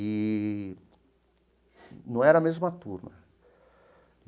Eee não era a mesma turma.